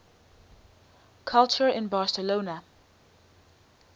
culture in barcelona